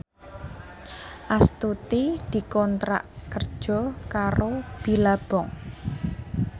Astuti dikontrak kerja karo Billabong